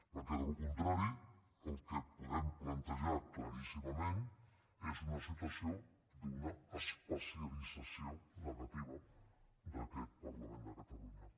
perquè en cas contrari el que podem plantejar claríssimament és una situació d’una especialització negativa d’aquest parlament de catalunya